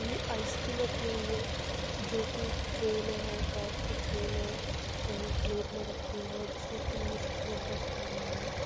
ये आइसक्रीम रखी हुई है जो कि एक ट्रे में है कांच के ट्रे में है और एक प्लेट में रखे हुए हैं जिस में तीन स्पून रखे हुए हैं।